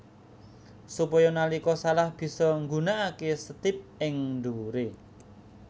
Supaya nalika salah bisa nggunakaké setip ing dhuwuré